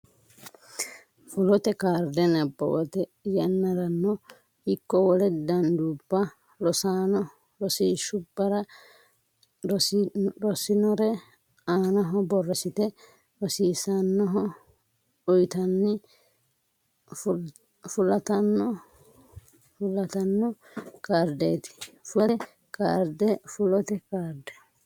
Fulote Kaarde nabbawate yannarano ikko wole danduubba rossanno rosiishshubbara rossinore aanaho borreessite rosiisaanchoho uytanni fulatanno kaardeeti Fulote Kaarde Fulote Kaarde.